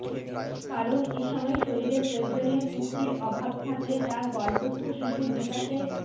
কারণ এ সময় শরীরে প্রয়োজনীয় পুষ্টির অভাব থাকলে তা গর্ভস্থ শিশুর বিকাশের